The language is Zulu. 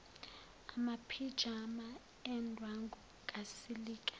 amaphijama endwangu kasilika